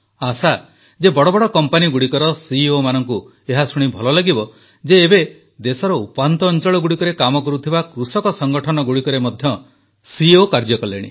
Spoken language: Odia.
ଆଶା ଯେ ବଡ଼ ବଡ଼ କମ୍ପାନୀଗୁଡ଼ିକର ସିଇଓମାନଙ୍କୁ ଏହା ଶୁଣି ଭଲ ଲାଗିବ ଯେ ଏବେ ଦେଶର ଉପାନ୍ତ ଅଂଚଳଗୁଡ଼ିକରେ କାମ କରୁଥିବା କୃଷକ ସଂଗଠନଗୁଡ଼ିକରେ ମଧ୍ୟ ସିଇଓ କାର୍ଯ୍ୟ କଲେଣି